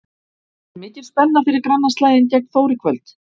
Er mikil spenna fyrir grannaslaginn gegn Þór í kvöld?